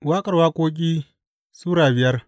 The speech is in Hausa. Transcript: Waƙar Waƙoƙi Sura biyar